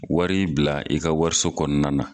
Wari bila i ka wariso kɔnɔna na.